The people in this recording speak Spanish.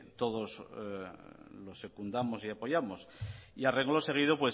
todos lo secundamos y apoyamos y a renglón seguido